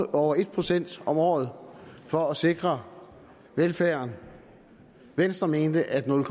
over en procent om året for at sikre velfærden venstre mente at nul